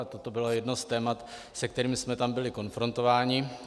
A toto bylo jedno z témat, se kterým jsme tam byli konfrontováni.